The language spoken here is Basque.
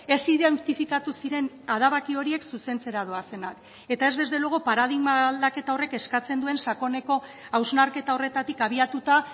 ez identifikatu ziren adabaki horiek zuzentzera doazenak eta ez desde luego paradigma aldaketa horrek eskatzen duen sakoneko hausnarketa horretatik abiatuta